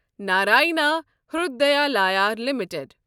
Narayana Hrudayalaya limited